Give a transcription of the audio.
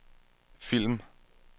film